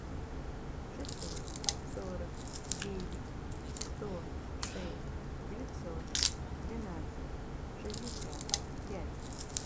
шестьсот сорок девять сто шесть девятьсот двенадцать шестьдесят пять